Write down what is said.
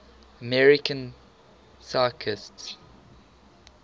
american physicists